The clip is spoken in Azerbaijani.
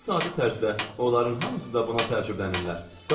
Ən sadə tərzdə onların hamısı da buna təəccüblənirlər.